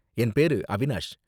என் பேரு அவினாஷ்.